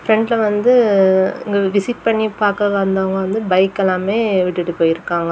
பிரெண்ட்ல வந்து இங்க விசிட் பண்ணி பாக்க வந்தவங்க வந்து பைக் எல்லாமே விட்டுட்டு போயிருக்காங்க.